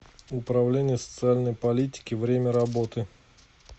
управление социальной политики время работы